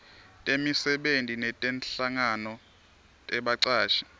temisebenti netinhlangano tebacashi